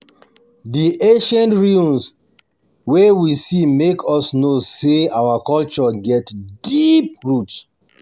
Di ancient ruins wey we see make us know sey our culture get deep roots.